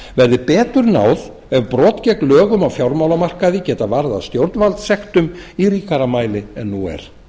verði betur náð ef brot gegn lögum á fjármálamarkaði geta varðað stjórnvaldssektum í ríkara mæli en nú er